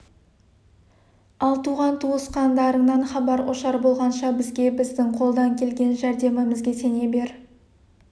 ал туған-туысқандарыңнан хабар ошар болғанша бізге біздің қолдан келген жәрдемімізге сене бер